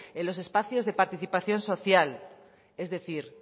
en los espacios de participación social es decir